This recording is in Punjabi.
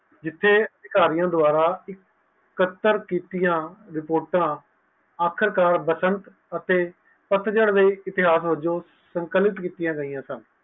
ਜਿਥੇ ਇਸਾਰਿਆਂ ਦੁਆਵਰਾ ਕਤਾਰ ਕੀਤੀਆਂ ਅਖੀਰ ਕਰ ਬਸੰਤ ਅਤੇ ਪਤਝੜ ਲਯੀ ਇਤਿਹਾਸ ਵਲੋਂ ਸੰਕਲਿਤ ਕੀਤੀਆਂ ਗਯੀਆ ਸਨ